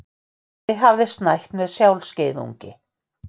Ari hafði snætt með sjálfskeiðungi.